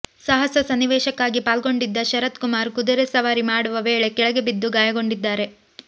ಸಾಹಸ ಸನ್ನಿವೇಶಕ್ಕಾಗಿ ಪಾಲ್ಗೊಂಡಿದ್ದ ಶರತ್ ಕುಮಾರ್ ಕುದುರೆ ಸವಾರಿ ಮಾಡುವ ವೇಳೆ ಕೆಳಗೆ ಬಿದ್ದು ಗಾಯಗೊಂಡಿದ್ದಾರೆ